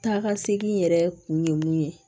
Taa ka segin yɛrɛ kun ye mun ye